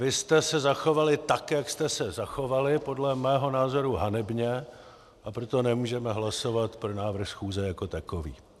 Vy jste se zachovali tak, jak jste se zachovali, podle mého názoru hanebně, a proto nemůžeme hlasovat pro návrh schůze jako takový.